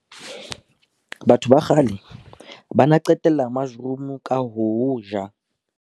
Batho ba kgale ba na qetella mushroom ka ho o ja.